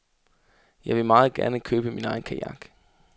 Jeg ville meget gerne købe min egen kajak.